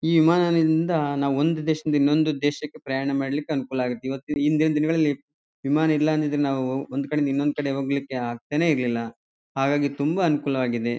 ಈ ವಿಮಾನನಿಂದ ನಾವು ಒಂದು ದೇಶದಿಂದ ಇನ್ನೊಂದ್ ದೇಶಕೆ ಪ್ರಯಾಣ ಮಾಡ್ಲಿಕ್ ಅನುಕೂಲ ಆಗುತ್ತೆ ಇವತ್ ಹಿಂದಿನ ದಿನಗಳಲ್ಲಿ ವಿಮಾನ ಇಲ್ಲ ಅಂದಿದ್ರೆ ನಾವು ಒಂದು ಕಡೆಯಿಂದ ಇನ್ನೊಂದ್ ಕಡೆಗೆ ಹೋಗ್ಲಿಕ್ಕೆ ಆಗ್ತಾನೆ ಇರ್ಲಿಲ ಹಾಗಾಗಿ ತುಂಬಾ ಅನುಕೂಲವಾಗಿದೆ.